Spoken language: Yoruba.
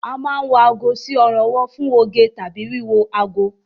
A máa ń wọ ago sí ọrùn ọwọ́ fún oge tàbí wíwo ago